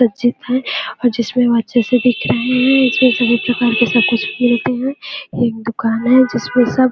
है और जिसमें वह अच्छे से दिख रहे है इसमें सभी प्रकार के सब कुछ मिलते है एक दुकान है जिस में सब--